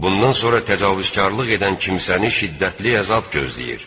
Bundan sonra təcavüzkarlıq edən kimsəni şiddətli əzab gözləyir.